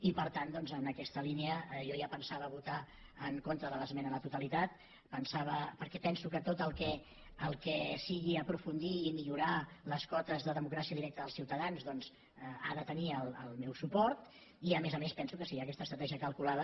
i per tant doncs en aquesta línia jo ja pensava votar en contra de l’esmena a la totalitat perquè penso que tot el que sigui aprofundir i millorar les cotes de democràcia directa dels ciutadans ha de tenir el meu suport i a més a més penso que si hi ha aquesta estratègia calculada